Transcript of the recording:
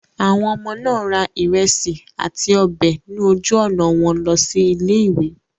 Àwọn ọmọ náà ra ìrẹsì àti ọbẹ̀ ní ojú-ọ̀nà wọn lọ sí ilé-ìwé.